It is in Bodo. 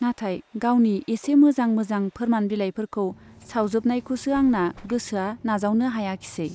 नाथाय गावनि एसे मोजां मोजां फोरमान बिलाइफोरखौ सावजोबनायखौसो आंना गोसोआ नाजावनो हायाखिसै।